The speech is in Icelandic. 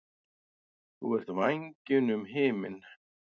Þú ert vængjunum himinn.